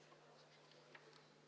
Aitäh!